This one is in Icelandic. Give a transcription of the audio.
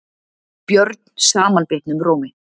björn samanbitnum rómi.